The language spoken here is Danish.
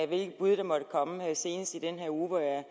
hvilke bud der måtte komme senest i den her uge hvor jeg